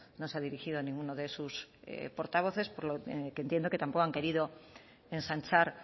no se ha dirigido ninguno de sus portavoces por lo que entiendo que tampoco han querido ensanchar